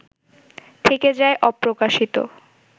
থেকে যায় অপ্রকাশিত